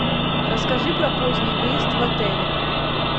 расскажи про поздний выезд в отеле